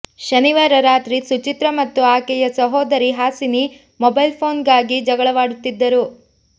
ಶನಿವಾರ ರಾತ್ರಿ ಸುಚಿತ್ರಾ ಮತ್ತು ಆಕೆಯ ಸಹೋದರಿ ಹಾಸಿನಿ ಮೊಬೈಲ್ ಫೋನ್ ಗಾಗಿ ಜಗಳವಾಡುತ್ತಿದ್ದರು